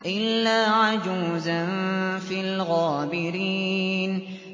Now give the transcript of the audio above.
إِلَّا عَجُوزًا فِي الْغَابِرِينَ